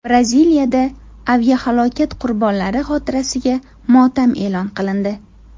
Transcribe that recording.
Braziliyada aviahalokat qurbonlari xotirasiga motam e’lon qilindi .